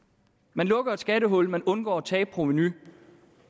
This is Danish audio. man lukker et skattehul man undgår at tabe provenu